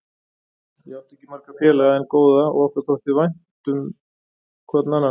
Ég átti ekki marga félaga, en góða, og okkur þótti vænt hverjum um annan.